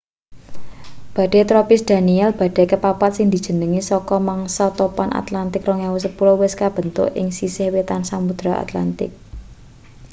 badai tropis danielle badai kepapat sing dijenengi saka mangsa topan atlantik 2010 wis kebentuk ing sisih wetan samudra atlantik